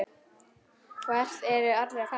Hvert eru allir að fara?